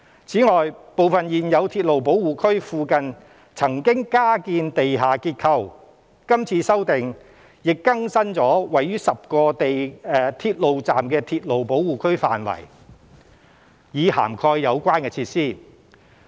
此外，部分現有鐵路保護區附近曾經加建地下結構，今次修訂亦更新了位於10個鐵路站的鐵路保護區範圍，以涵蓋有關設施。